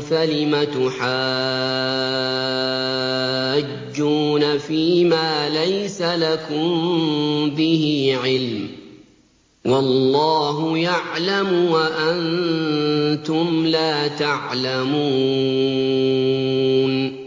فَلِمَ تُحَاجُّونَ فِيمَا لَيْسَ لَكُم بِهِ عِلْمٌ ۚ وَاللَّهُ يَعْلَمُ وَأَنتُمْ لَا تَعْلَمُونَ